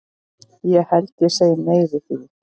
Ég held ég segi nei við því.